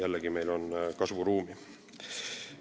Jällegi, meil on arenguruumi.